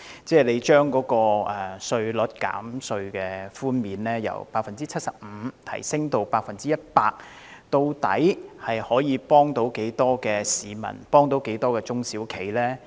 將稅務寬減比率從 75% 提升至 100%， 究竟可以幫助多少市民和中小型企業？